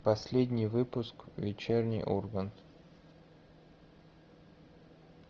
последний выпуск вечерний ургант